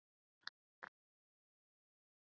Enginn var um borð.